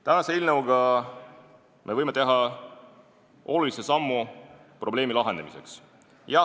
Tänase eelnõuga me võime teha olulise sammu probleemi lahenemiseks.